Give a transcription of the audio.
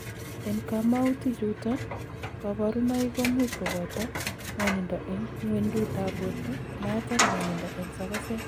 En komoutichuton, koborunoik komuch koboto ng'wonindo en ng'wendutab borto, maat ak ng'wonindo en sokoset.